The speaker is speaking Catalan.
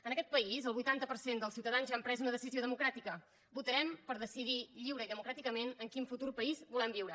en aquest país el vuitanta per cent dels ciutadans ja han pres una decisió democràtica votarem per decidir lliurement i democràticament en quin futur país volem viure